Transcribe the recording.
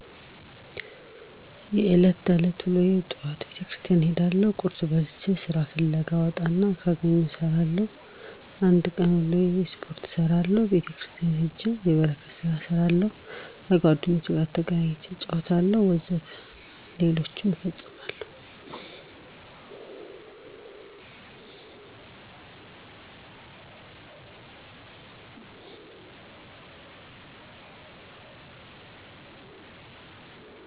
የእለት ተዕለት ወሎዬ በጠዋቱ ቤተክርስቲያን እሄዳለሁ ቁርስ በልቼ ስራ ፍለጋ እወጣና ካገኘሁም እሰራለሁ የአንድ ቀን ውሎዬ ስፖርት እሰራለሁ ቤተክርስቲያን ሄጄ የበረከት ስራ እሰራለሁ ከጓደኞቼ ጋር ተገናኝቼ እጫወታለሁ ወዘተ ሌሎችም እፈጽማለሁ።